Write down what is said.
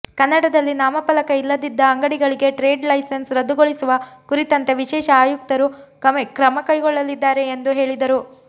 ಕನ್ನಡದಲ್ಲಿ ನಾಮಫಲಕ ಇಲ್ಲದಿದ್ದ ಅಂಗಡಿಗಳಿಗೆ ಟ್ರೇಡ್ ಲೈಸನ್ಸ್ ರದ್ದುಗೊಳಿಸುವ ಕುರಿತಂತೆ ವಿಶೇಷ ಆಯುಕ್ತರು ಕ್ರಮಕೈಗೊಳ್ಳಲಿದ್ದಾರೆ ಎಂದು ಹೇಳಿದರು